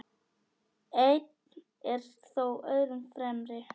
Einn er þó öðrum fremri.